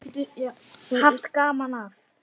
Haft gaman af.